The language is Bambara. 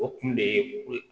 O kun de ye ko ye